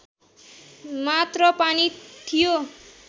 मात्र पानी थियो